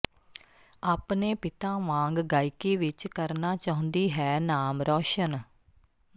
ਆਪਣੇ ਪਿਤਾ ਵਾਂਗ ਗਾਇਕੀ ਵਿੱਚ ਕਰਨਾ ਚਾਹੁੰਦੀ ਹੈ ਨਾਮ ਰੌਸ਼ਨ